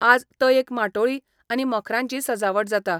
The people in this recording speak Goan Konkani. आज तयेक माटोळी आनी मखरांची सजावट जाता.